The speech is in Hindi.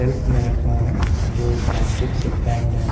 सेल्स में रखे हुए है जो प्लास्टिक से पैक्ड है ।